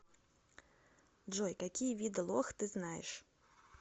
джой какие виды лох ты знаешь